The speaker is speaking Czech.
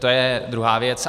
To je druhá věc.